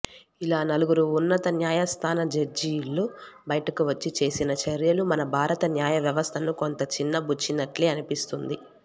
ఇలా నలుగురు ఉన్నత న్యాయస్థాన జడ్జీలు బయటకు వచ్చి చేసిన చర్యలు మన భారత న్యాయవ్యవస్థను కొంత చిన్నబుచ్చినట్లే అనిపిస్తోంది